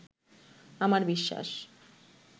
আমার বিশ্বাস